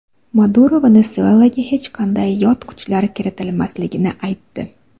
Maduro Venesuelaga hech qanday yot kuchlar kiritilmasligini aytdi.